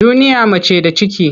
Duniya mace da ciki.